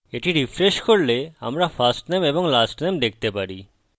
এটি refresh করলে আমরা firstname এবং lastname দেখতে পারি